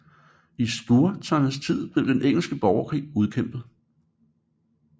I Stuarternes tid blev den engelske borgerkrig udkæmpet